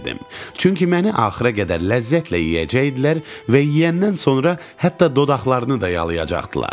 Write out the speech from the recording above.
Çünki məni axıra qədər ləzzətlə yeyəcəkdilər və yeyəndən sonra hətta dodaqlarını da yalayacaqdılar.